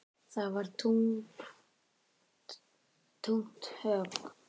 Það var þungt högg.